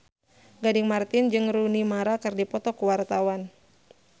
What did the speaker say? Gading Marten jeung Rooney Mara keur dipoto ku wartawan